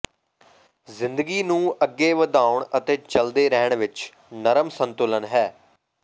ਜ਼ਿੰਦਗੀ ਨੂੰ ਅੱਗੇ ਵਧਾਉਣ ਅਤੇ ਚਲਦੇ ਰਹਿਣ ਵਿਚ ਨਰਮ ਸੰਤੁਲਨ ਹੈ